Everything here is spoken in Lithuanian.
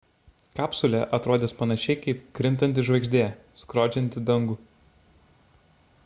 kapsulė atrodys panašiai kaip krintanti žvaigždė skrodžianti dangų